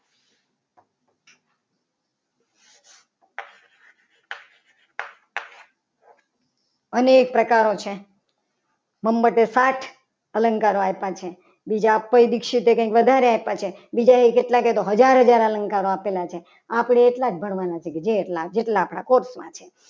અનેક પ્રકારો છે નંબર છે. સાત અલંકારો આવતા છે. બીજા કોઈ દીક્ષિત વધારે હતા કંઈ બીજા એ તો કેટલા કે હજાર હજાર અલંકાર આપેલા છે આપણે એટલા જ ભણવાના છે. કે જે જેટલા આપણા course માં છે.